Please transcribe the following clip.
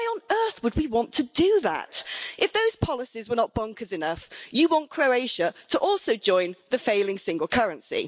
Why on earth would we want to do that? If those policies were not bonkers enough, you want Croatia to also join the failing single currency.